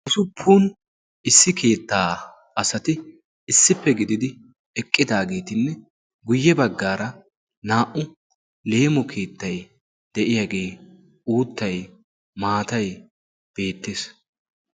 Usuppun issi keettaa asati issippe gididi eqqidaageetinne guyye baggaara naa'u leemo keettay de'iyaagee uuttay maatay beettees.